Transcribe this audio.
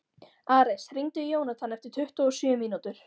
Ares, hringdu í Jónatan eftir tuttugu og sjö mínútur.